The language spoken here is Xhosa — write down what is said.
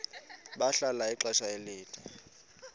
bahlala ixesha elide